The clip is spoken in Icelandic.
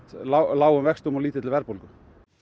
lágum vöxtum og lítilli verðbólgu